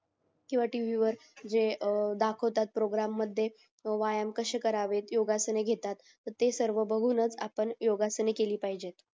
किंवा टीव्ही वर जे दाखवता प्रोग्रॅम मध्ये व्यायाम कसे करावेत योगासने घेतात ते सर्व बघूनच आपण योगासने केली पाहिजेत